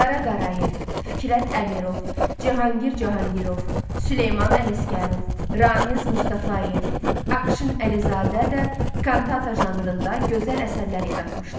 Qara Qarayev, Fikrət Əmirov, Cahangir Cahangirov, Süleyman Ələsgərov, Ramiz Mustafayev, Akşin Əlizadə də kantata janrında gözəl əsərlər yaratmışlar.